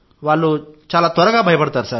వాళ్లు చాలా త్వరగా భయపడతారు